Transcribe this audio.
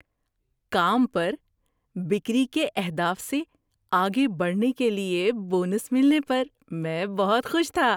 کام پر بِکری کے اہداف سے آگے بڑھنے کے لیے بونس ملنے پر میں بہت خوش تھا۔